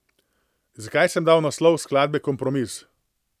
Zakaj sem dal naslov skladbe Kompromis?